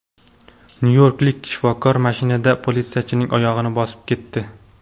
Nyu-yorklik shifokor mashinada politsiyachining oyog‘ini bosib ketdi.